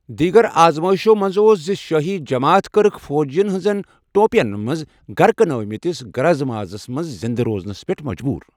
دیگر آزمائشو منز اوس زِ شٲہی جماتھ كرٕكھ فوجیین ہنزن ٹوپین منز گركہٕ نٲوِِمتِس گرِ مازس پیٹھ زِندٕ روزنس پیٹھ مجبور ۔